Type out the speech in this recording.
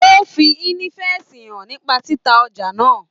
O fí ínífẹsí hàn nípa títa ọjà náà.